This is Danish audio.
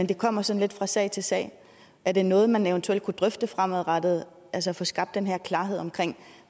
det kommer sådan lidt fra sag til sag er det noget man eventuelt kunne drøfte fremadrettet altså få skabt den her klarhed omkring